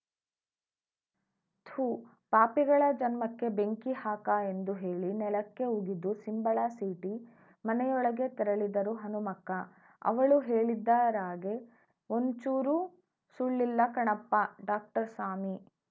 ಥೂ ಪಾಪಿಗಳ ಜನ್ಮಕ್ಕೆ ಬೆಂಕಿ ಹಾಕ ಎಂದು ಹೇಳಿ ನೆಲಕ್ಕೆ ಉಗಿದು ಸಿಂಬಳ ಸೀಟಿ ಮನೆಯೊಳಗೆ ತೆರಳಿದರು ಹನುಮಕ್ಕ ಅವಳು ಹೇಳಿದ್ದರಾಗೆ ಒಂಚೂರೂ ಸುಳ್ಳಿಲ್ಲಕಣಪ್ಪ ಡಾಕ್ಟರ್‌ಸ್ವಾಮಿ